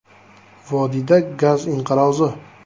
Vodiyda “gaz inqirozi”.